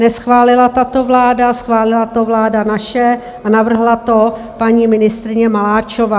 Neschválila tato vláda, schválila to vláda naše a navrhla to paní ministryně Maláčová.